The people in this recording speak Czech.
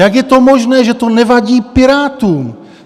Jak je to možné, že to nevadí Pirátům?